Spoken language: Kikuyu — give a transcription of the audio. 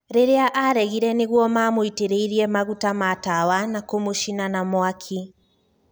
Riria aregire niguo mamũitireire maguta ma tawa na kũmũcina na mwaki.